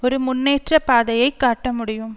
ஒரு முன்னேற்ற பாதையை காட்ட முடியும்